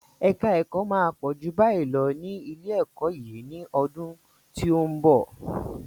Èka ẹ̀kọ́ máa pọ̀ ju báyìí lọ ní ilé-ẹ̀kọ́ yìí ní ọdún tí ó ń bọ̀.